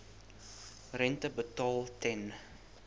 rente betaal ten